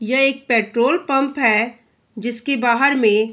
ये एक petrol pump है जिसके बाहर में --